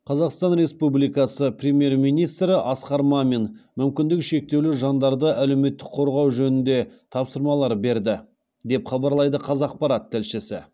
қазақстан республикасы премьер министрі асқар мамин мүмкіндігі шектеулі жандарды әлеуметтік қорғау жөнінде тапсырмалар берді деп хабарлайды қазақпарат тілшісі